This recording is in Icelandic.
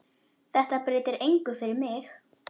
Þetta breytir engu fyrir mig.